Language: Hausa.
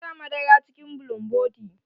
Ki sa madara cikin bulumboti.